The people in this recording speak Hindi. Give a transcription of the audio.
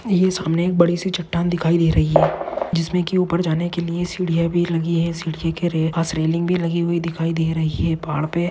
ये सामने एक बडीसी छट्टान दिखाई दे रहा है जिसमे की ऊपर जाने के लिए सिडिया भी लगी है सीडीए के भी रेलिंग भी लगी हुई दिखाई दे रहो है। पहाड़ पे --